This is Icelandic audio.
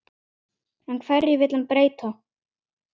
En hverju vill hann breyta?